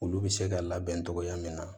Olu bɛ se ka labɛn cogoya min na